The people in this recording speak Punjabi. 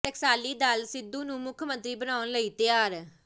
ਟਕਸਾਲੀ ਦਲ ਸਿੱਧੂ ਨੂੰ ਮੁੱਖ ਮੰਤਰੀ ਬਣਾਉਣ ਲਈ ਤਿਆਰ